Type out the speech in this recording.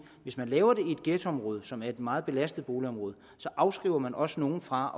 hvis man laver det i et ghettoområde som er et meget belastet boligområde så afholder man også nogle fra